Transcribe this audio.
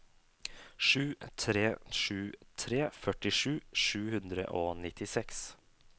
sju tre sju tre førtisju sju hundre og nittiseks